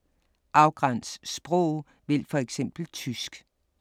Afgræns sprog: vælg for eksempel tysk